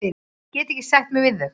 Ég get ekki sætt mig við þau.